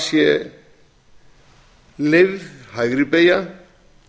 sé leyfð hægri beygja